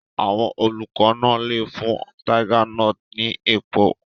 Àwọn olùkọ́ náà lè fún tiger nuts ní èpò.